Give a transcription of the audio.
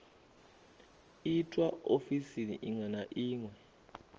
itwa ofisini iṅwe na iṅwe